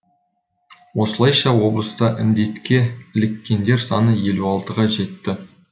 осылайша облыста індетке іліккендер саны елу алтыға жетті